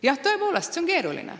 Jah, tõepoolest, see on keeruline.